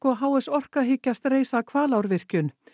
og h s Orka hyggjast reisa Hvalárvirkjun